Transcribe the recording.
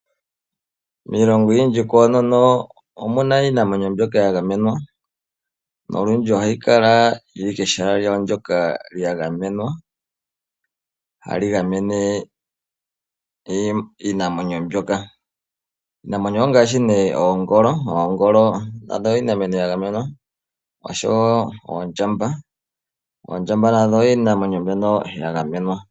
Miilongo oyindji koonono omuna iinamwenyo mbyoka ya gamenwa. Olundji ohayi kala kehala hali gamene iinamwenyo mbyoka. Iinamwenyo ongaashi oongolo nandho iinamwenyo ya gamenwa oshowo oondjamba.